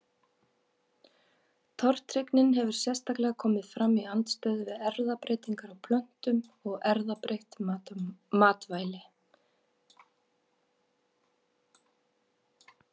Tortryggnin hefur sérstaklega komið fram í andstöðu við erfðabreytingar á plöntum og erfðabreytt matvæli.